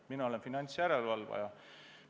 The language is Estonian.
Mina olen finantsjärelevalvaja.